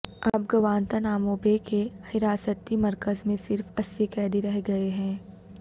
اب گوانتاناموبے کے حراستی مرکز میں صرف اسی قیدی رہ گئے ہیں